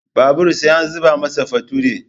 Babur sai an zuma masa future